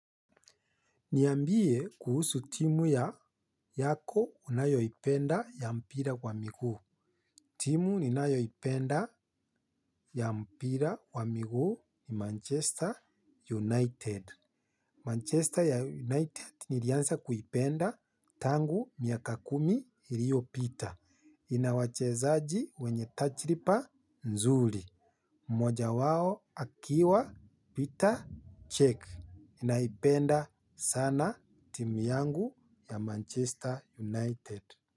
Niambie kuhusu timu yako unayoipenda ya mpira wa miguu. Timu ninayoipenda ya mpira wa miguu ni Manchester United. Manchester United nilianza kuipenda tangu miaka kumi iliopita. Ina wachezaji wenye tajiriba nzuri. Moja wao akiwa Petr Cech. Naipenda sana timu yangu ya Manchester United.